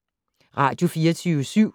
Radio24syv